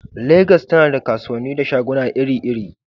Legas tana da kasuwanni da shaguna iri-iri.